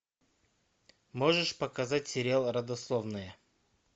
можешь показать сериал родословная